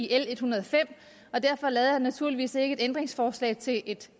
l en hundrede og fem og derfor lavede jeg naturligvis ikke et ændringsforslag til et